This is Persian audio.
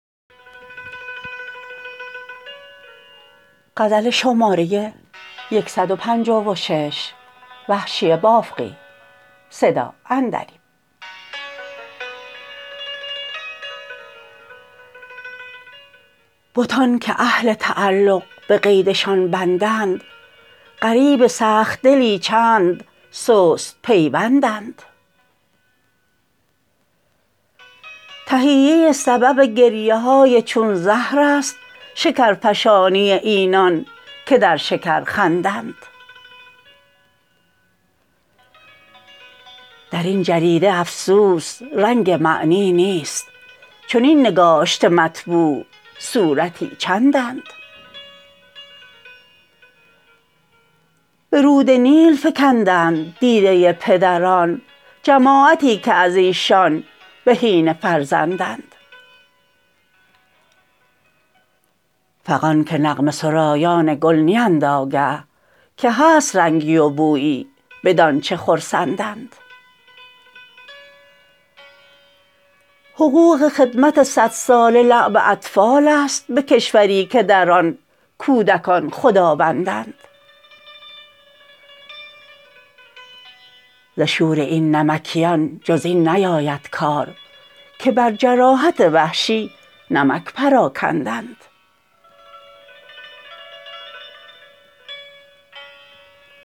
بتان که اهل تعلق به قید شان بندند غریب سخت دلی چند سست پیوندند تهیه سبب گریه های چون زهر است شکر فشانی اینان که در شکر خندند در این جریده افسوس رنگ معنی نیست چنین نگاشته مطبوع صورتی چندند به رود نیل فکندند دیده پدران جماعتی که از ایشان بهینه فرزندند فغان که نغمه سرایان گل نیند آگه که هست رنگی و بویی بدانچه خرسندند حقوق خدمت سد ساله لعب اطفال است به کشوری که در آن کودکان خداوندند ز شور این نمکینان جز این نیاید کار که بر جراحت وحشی نمک پراکندند